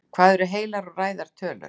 Hvað eru heilar og ræðar tölur?